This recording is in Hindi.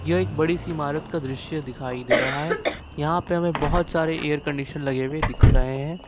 यह एक बड़ी सी इमारत का दृश्य दिखाई दे रहा है यहां पे हमें बहोत सारे एयर कंडीशन लगे हुए दिख रहे हैं।